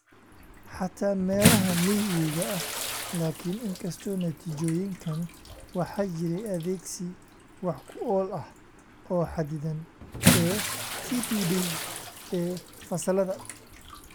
Xataa meelaha miyiga ah-laakin, inkastoo natiijooyinkan, waxaa jiray adeegsi wax ku ool ah oo xadidan ee TPD ee fasallada.